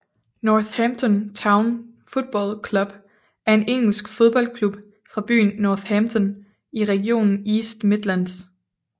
Northampton Town Football Club er en engelsk fodboldklub fra byen Northampton i regionen East Midlands